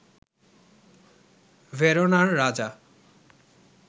ভেরোনার রাজা